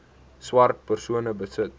swart persone besit